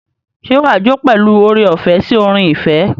Ṣé wàá jó pẹ̀lú oore-ọ̀fẹ́ sí orin ìfẹ́?